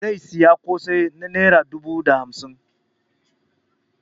Zai sayi kosai na naira dubu da naira hamsin.